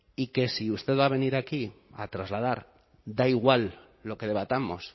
y que si usted va a venir aquí a trasladar da igual lo que debatamos